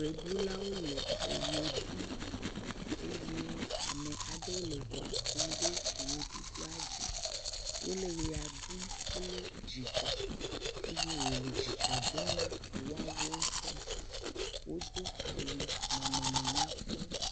Ʋeɖulawo le eʋe ɖum. Eye ame aɖewo le ŋu ƒom ɖe ʋeɖuɖua dzi. Wole ʋea ɖum kple dzidzɔ. Eye wòle dzidzɔ dom na woawo ŋutɔ hã. Wodo au nɔnɔme nya kpɔ.